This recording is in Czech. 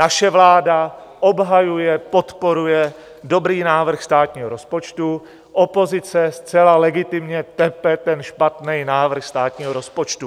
Naše vláda obhajuje, podporuje dobrý návrh státního rozpočtu, opozice zcela legitimně tepe ten špatný návrh státního rozpočtu.